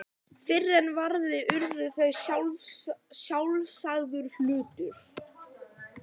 Fyrr en varði urðu þær sjálfsagður hlutur.